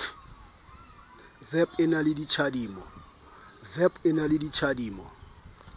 vep e na le tjhadimo